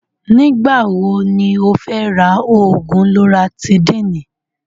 Ní ìgbà wo ní o fẹ́ rà oògùn lọratídííni?